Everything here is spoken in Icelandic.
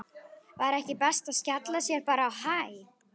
Var ekki best að skella sér bara á Hæ?